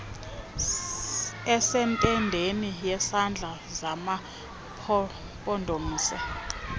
esentendeni yezandla zamampondomise